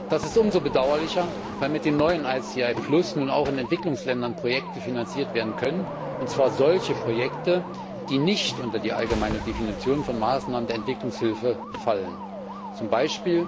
Das ist umso bedauerlicher, weil mit den neuen ICI auch Projekte in den Entwicklungsländern finanziert werden können, und zwar solche Projekte, die nicht unter die allgemeine Definition von Maßnahmen der Entwicklungshilfe fallen, z. B.